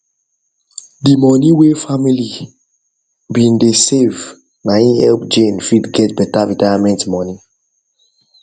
the money whey family been whey family been dey save na him help jane fit get beta retirement money